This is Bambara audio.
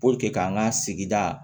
k'an ka sigida